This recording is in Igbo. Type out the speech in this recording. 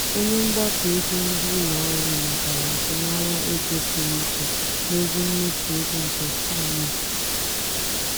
onye mgbakọ ego ndị ụlọ ọrụ matara azụmahịa ego pụrụ iche n'ozi mmefụ ego nke ceo.